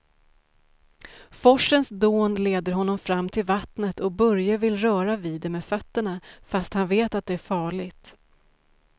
Forsens dån leder honom fram till vattnet och Börje vill röra vid det med fötterna, fast han vet att det är farligt.